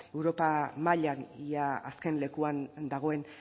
europa mailan ia azken lekuan dagoen